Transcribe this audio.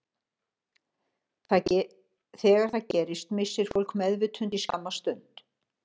Þegar það gerist missir fólk meðvitund í skamma stund.